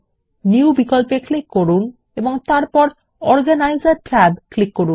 new বিকল্পে click করুন এবং তারপর অর্গানিসের ট্যাবে ক্লিক করুন